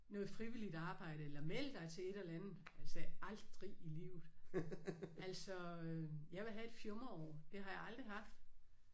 Noget frivilligt arbejde eller meld dig til et eller andet. Jeg sagde aldrig i livet altså jeg vil have et fjumreår. Det har jeg aldrig haft